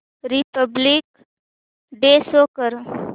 Republic Day show कर